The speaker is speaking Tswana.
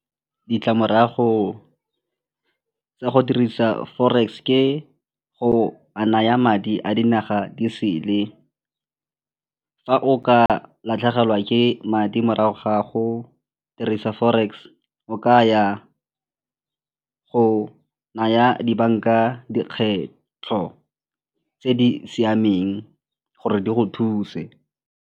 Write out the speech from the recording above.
Ditlamorago tsa go dirisa forex ke go a naya madi a dinaga disele. Fa o ka latlhegelwa ke madi morago ga go dirisa forex, o ka ya go naya dibanka dikgetho tse di siameng gore di go thuse.